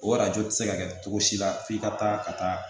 O arajo tɛ se ka kɛ cogo si la f'i ka taa ka taa